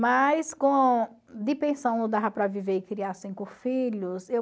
Mas com de pensão não dava para viver e criar cinco filhos.